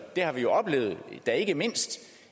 det har vi jo oplevet da ikke mindst